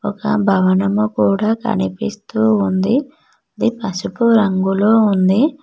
ఆ భవనము కూడా కనిపిస్తూ ఉంది అది పసుపు రంగులో ఉంది.